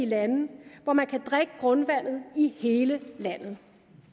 lande hvor man kan drikke grundvandet i hele landet